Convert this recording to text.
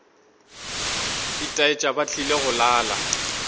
itaetša ba tlile go lala